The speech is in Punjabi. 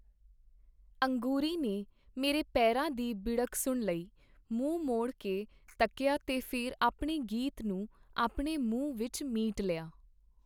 ਅੰਗੂਰੀ ਨੇ ਮੇਰੇ ਪੇਰਾਂ ਦੀ ਬਿੜਕ ਸੁਣ ਲਈ, ਮੂੰਹ ਮੋੜ ਕੇ ਤੱਕੀਆ ਤੇ ਫੇਰ ਆਪਣੇ ਗੀਤ ਨੂੰ ਆਪਣੇ ਮੂੰਹ ਵਿਚ ਮੀਟ ਲਿਆ.